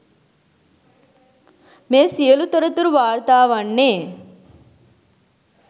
මේ සියලු තොරතුරු වාර්තා වන්නේ